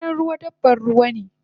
Dorinan ruwa dabban ruwane